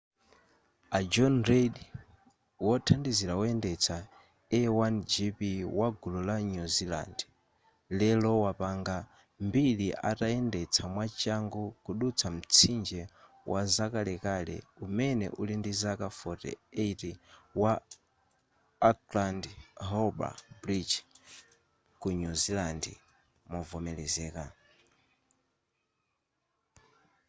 a john reid wothandizira woyendetsa a1gp wagulu la new zealand lero wapanga mbiri atayendetsa mwachangu kudutsa mtsinje wazakalekale umene uli ndi zaka 48 wa auckland harbour bridge ku new zealand movomelezeka